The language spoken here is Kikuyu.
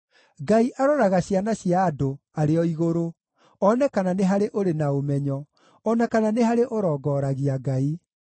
Ngai aroraga ciana cia andũ arĩ o igũrũ, one kana nĩ harĩ ũrĩ na ũmenyo, o na kana nĩ harĩ ũrongoragia Ngai.